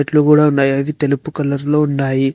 ఇండ్లు గూడ ఉన్నాయి అవి తెలుపు కలర్లో ఉన్నాయి.